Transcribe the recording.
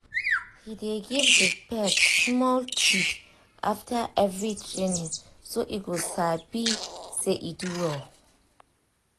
he dey give the pet small treat after every training so e go sabi say e do well.